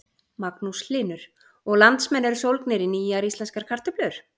Magnús Hlynur: Og landsmenn eru sólgnir í nýjar íslenskar kartöflur?